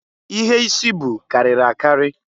Ihe isi bụ karịrị a karị.